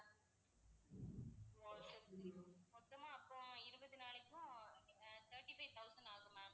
மொத்தமா அப்போ இருபது நாளைக்கும் அஹ் thirty-five thousand ஆகும் ma'am